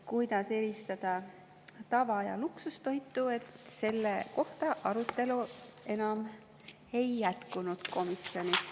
Kuidas eristada tava‑ ja luksustoitu, selle kohta arutelu komisjonis ei järgnenud.